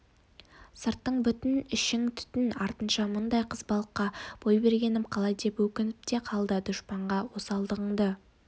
сыртың бүтін ішің түтін артынша мұндай қызбалыққа бой бергенім қалай деп өкініп те қалады дұшпанға осалдығыңды